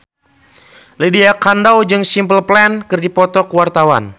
Lydia Kandou jeung Simple Plan keur dipoto ku wartawan